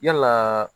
Yalaa